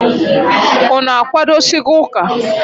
Unu akwadosigo ụka?